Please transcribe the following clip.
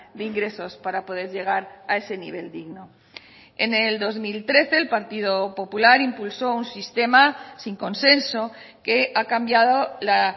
de ingresos para poder llegar a ese nivel digno en el dos mil trece el partido popular impulsó un sistema sin consenso que ha cambiado la